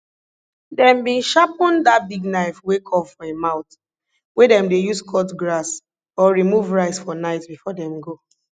dem bin sharpen dat big knife wey curve for im mouth wey dem dey use cut grass or remove rice for night before dem go